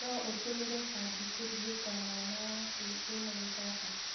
No ũtũmĩre bangi kũrigita mwana waku wĩna kĩbaba?